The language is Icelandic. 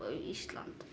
Ísland